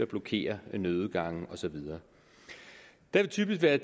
blokerer nødudgange og så videre det vil typisk være